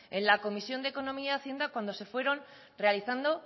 en la comisión de economía y hacienda cuando se fueron realizando